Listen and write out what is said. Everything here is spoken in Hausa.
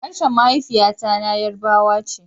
Harshen mahaifiya na yarbawa ce